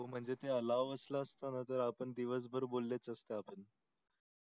म्हणजे ते allow असल असतं णा तर आपण दिवस भर बोलेच असतो आपण